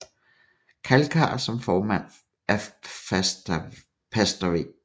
Kalkar som formand af pastor V